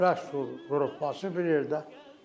Rəqs qrupu yox, bassı bir yerdə.